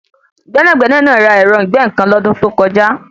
Gbẹ́nàgbẹ́nà náà ra ẹ̀rọ ìgbẹ́-nǹkan lọ́dún tó kọjá.